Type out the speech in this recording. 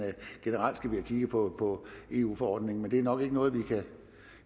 generelt skal vi have kigget på eu forordningen men det er nok ikke noget